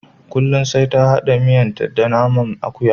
Kullum sai ta hada miyanta da naman akuya.